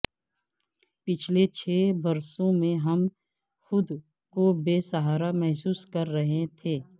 پچھلے چھ برسوں میں ہم خود کو بے سہارا محسوس کر رہے تھے